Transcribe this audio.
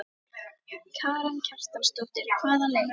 Karen Kjartansdóttir: Hvaða leið?